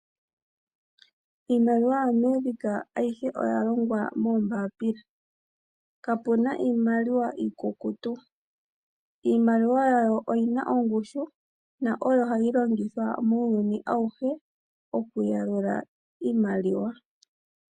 Iimaliwa yaAmerika, ayihe oyalongwa moombapila. Kapuna iimaliwa iikukutu. Iimaliwa yawo oyina ongushu, na oyo hayi longithwa muuyuni awuhe okuyalula iimaliwa.